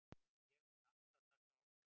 Ég mun alltaf taka ákvörðun.